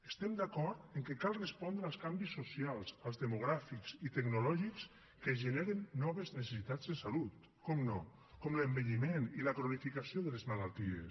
estem d’acord que cal respondre als canvis socials als demogràfics i tecnològics que generen noves necessitats de salut per descomptat com l’envelliment i la cronificació de les malalties